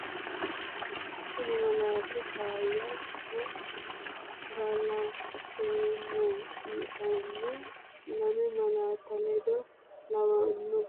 Kuni malaati “faayya” nna “galaxxeemmo”yitanno lame malaatta ledo lawannon baxxanno gede assitannonsa korkaatta Itophiyu malaatu afiinni xawisse, Wogate uduuni dagoomitte horo noonsa yinanni wote mayyaate?